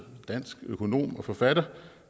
dansk økonom og forfatter